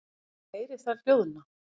Og ég heyri þær hljóðna.